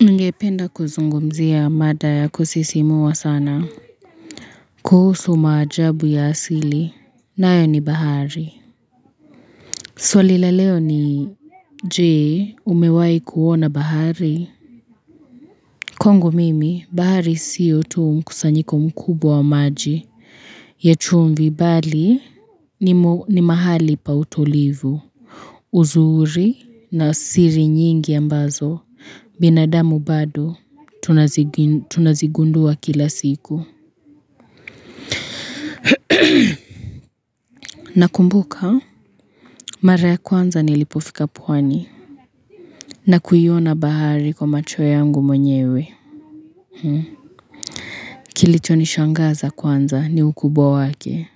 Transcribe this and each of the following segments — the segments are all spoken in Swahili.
Ningependa kuzungumzia mada ya kusisimua sana. Kuhusu maajabu ya asili. Nayo ni bahari. Swali la leo ni je, umewai kuona bahari? Kwangu mimi bahari siyo tu mkusanyiko mkubwa wa maji. Ya chumvi bali ni mahali pa utulivu. Uzuri na siri nyingi ambazo. Binadamu bado, tunazigundua kila siku. Nakumbuka, mara ya kwanza nilipofika pwani. Na kuiona bahari kwa macho yangu mwenyewe. Kilichonishangaza kwanza, ni ukubwa wake.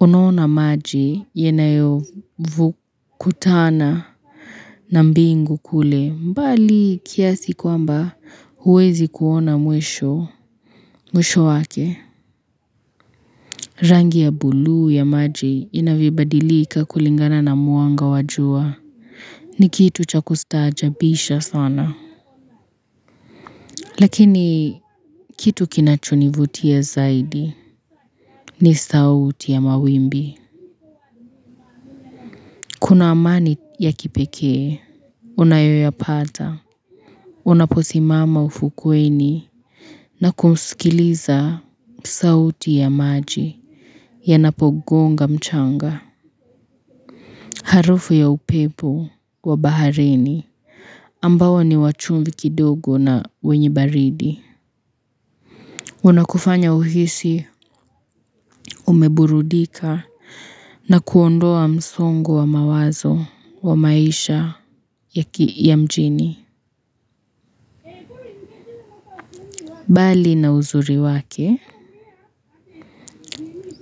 Unaona maji, yanavyo kutana na mbingu kule. Mbali kiasi kwamba, huwezi kuona mwisho wake. Rangi ya buluu ya maji inavyobadilika kulingana na mwanga wa jua. Ni kitu cha kustaajabisha sana. Lakini kitu kinachonivutia zaidi ni sauti ya mawimbi. Kuna amani ya kipekee, unayoyapata, unaposimama ufukweni na kuskiliza sauti ya maji ya yanapogonga mchanga. Harufu ya upepo wa baharini, ambao ni wachumvi kidogo na wenye baridi. Wanakufanya uhisi umeburudika na kuondoa msongo wa mawazo wa maisha ya mjini. Bali na uzuri wake,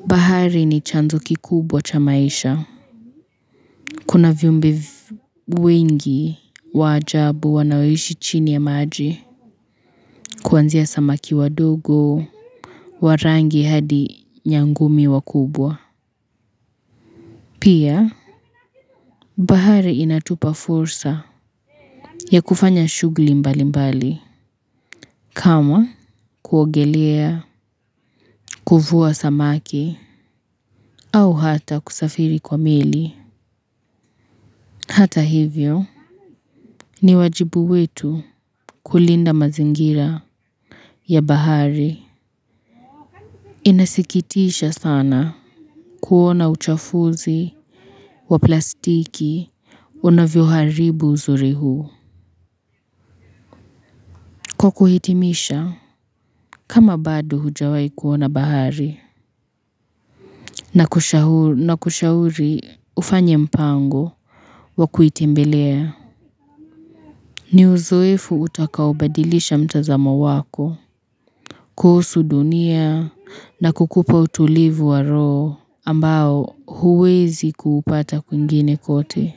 bahari ni chanzo kikubwa cha maisha. Kuna viumbie wengi wa ajabu wanaoishi chini ya maji kuanzia samaki wadogo, wa rangi hadi nyangumi wakubwa. Pia, bahari inatupa fursa ya kufanya shughuli mbali mbali, kama: kuogelea, kufua samaki, au hata kusafiri kwa meli Hata hivyo, ni wajibu wetu kulinda mazingira ya bahari. Inasikitisha sana kuona uchafuzi wa plastiki unavyo haribu uzuri huu kwa kuhitimisha kama badu hujawai kuona bahari na kushauri ufanye mpango wa kuitimbelea ni uzoefu utakaobadilisha mtazamo wako kuhusu dunia na kukupa utulivu wa roho ambao huwezi kuupata kwingine kote.